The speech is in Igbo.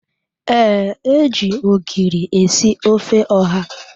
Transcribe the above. Ee, e ji ogiri esi ofe ọha